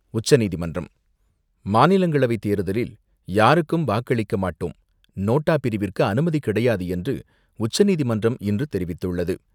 உச்சநீதிமன்றம் மாநிலங்களவை தேர்தலில், யாருக்கும் வாக்களிக்க மாட்டோம் நோட்டா பிரிவிற்கு அனுமதி கிடையாது என்று, உச்சநீதிமன்றம் இன்று தெரிவித்துள்ளது.